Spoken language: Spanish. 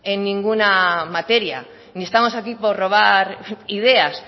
en ninguna materia ni estamos aquí por robar ideas